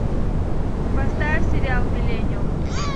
поставь сериал миллениум